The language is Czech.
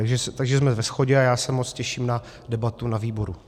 Takže jsme ve shodě a já se moc těším na debatu na výboru.